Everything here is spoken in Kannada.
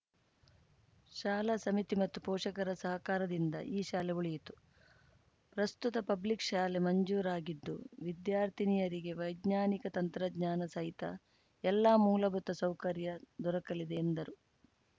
ಶಾಲಾ ಸಮಿತಿ ಮತ್ತು ಪೋಷಕರ ಸಹಕಾರದಿಂದ ಈ ಶಾಲೆ ಉಳಿಯಿತು ಪ್ರಸ್ತುತ ಪಬ್ಲಿಕ್‌ ಶಾಲೆ ಮಂಜೂರಾಗಿದ್ದು ವಿದ್ಯಾರ್ಥಿನಿಯರಿಗೆ ವೈಜ್ಞಾನಿಕ ತಂತ್ರಜ್ಞಾನ ಸಹಿತ ಎಲ್ಲ ಮೂಲಭೂತ ಸೌಕರ್ಯ ದೊರಕಲಿದೆ ಎಂದರು